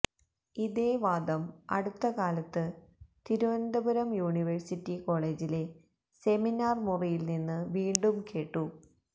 ഇതേ വാദം അടുത്തകാലത്ത് തിരുവനന്തപുരം യൂണിവേഴ്സിറ്റി കോളേജിലെ സെമിനാര് മുറിയില്നിന്ന് വീണ്ടും കേട്ടു